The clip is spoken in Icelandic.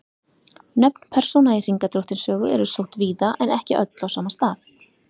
Nöfn persóna í Hringadróttinssögu eru sótt víða en ekki öll á sama stað.